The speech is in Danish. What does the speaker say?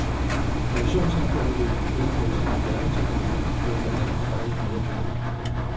Informationssamfundet vil med sin moderne teknologi give os mindre arbejde og mere frihed.